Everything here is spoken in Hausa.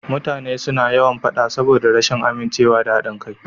Mutane suna yawan faɗa saboda rashin amincewa da haɗin kai.